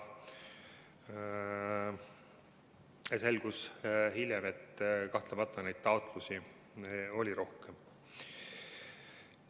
Hiljem selgus, et kahtlemata oli taotlusi rohkem.